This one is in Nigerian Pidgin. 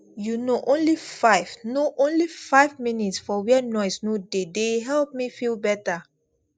you know only five know only five minutes for where noise no dey dey help me feel better